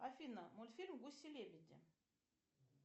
афина мультфильм гуси лебеди